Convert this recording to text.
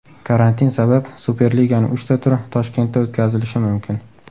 Karantin sabab Superliganing uchta turi Toshkentda o‘tkazilishi mumkin.